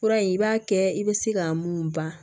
Fura in i b'a kɛ i bɛ se ka mun ban